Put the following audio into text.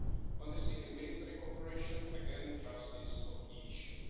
On civilian military cooperation, again trust is a key issue.